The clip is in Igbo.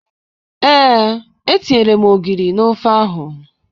Ee, etinyere m ogiri n'ofe ahụ